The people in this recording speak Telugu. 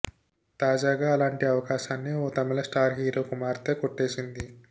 తాజాగా అలాంటి అవకాశాన్ని ఓ తమిళ స్టార్ హీరో కుమార్తె కొట్టేసింది